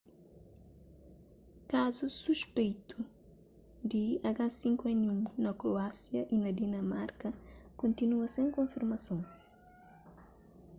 kazus suspeitu di h5n1 na kroásia y na dinamarka kontinua sen konfirmason